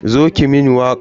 Zo ki mun waka.